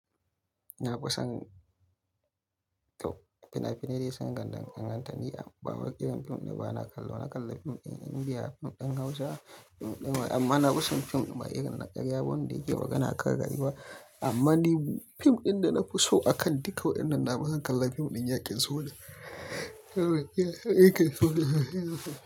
Na fi son, to fina-finai dai sun danganta ni amma ba wai irin fim ne ba. Na kalla, na kalla fim ɗin Indiya, fim ɗin Hausa, amma na fi son fim masu yawan naƙarya wanda yake waƙa na kan rayuwa ba. Amma ni fim ɗin da na fi so a kan duka waɗannan, na fi son kalla fim ɗin yakin soyayya. Yakin soyayya.